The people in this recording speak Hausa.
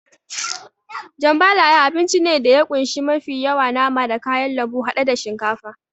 Jambalaya abinci ne da ya kunshi mafi yawa nama da kayan lambu haɗe da shinkafa.